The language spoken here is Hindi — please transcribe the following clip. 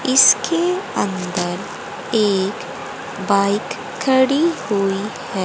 इसके अंदर एक बाइक खड़ी हुई है।